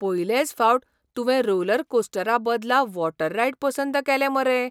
पयलेच फावट तुवें रोलरकोस्टरा बदला वॉटर रायड पसंत केलें मरे.